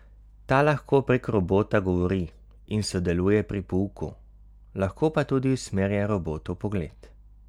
Ta lahko prek robota govori in sodeluje pri pouku, lahko pa tudi usmerja robotov pogled.